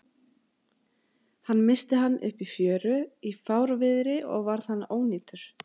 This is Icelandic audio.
Hann missti hann upp í fjöru í fárviðri og varð hann ónýtur.